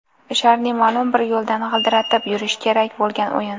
Sharni ma’lum bir yo‘ldan g‘ildiratib yurish kerak bo‘lgan o‘yin.